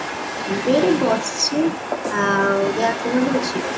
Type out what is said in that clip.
ମୁଁ ତ ଏଇଠି ବସିଛି ଆଉ ଦେହହାତ କେମତି ଅଛି